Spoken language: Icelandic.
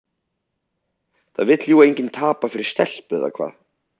Það vill jú enginn tapa fyrir stelpu, eða hvað?